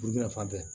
fan tɛ